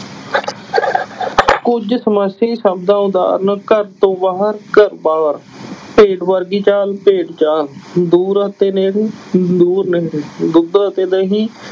ਕੁੱਝ ਸਮਾਸੀ ਸ਼ਬਦਾਂ ਉਦਾਹਰਨ ਘਰ ਤੋਂ ਬਾਹਰ ਘਰ ਬਾਹਰ ਭੇਡ ਵਰਗੀ ਚਾਲ ਭੇਡ ਚਾਲ, ਦੂਰ ਅਤੇ ਨੇੜੇ ਦੂਰ ਨੇੜੇ, ਦੁੱਧ ਅਤੇ ਦਹੀਂ